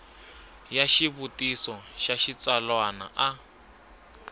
ya xivutiso xa xitsalwana a